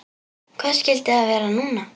Hvað skyldi það vera núna?